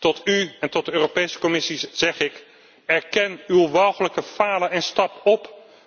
Tot u en tot de Europese Commissie zeg ik erken uw walchelijk falen en stap op.